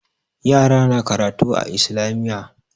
Yara na karatu a Islamiyya.